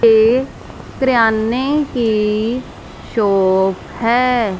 ये किराने की शॉप है।